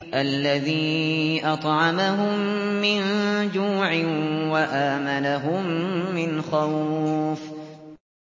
الَّذِي أَطْعَمَهُم مِّن جُوعٍ وَآمَنَهُم مِّنْ خَوْفٍ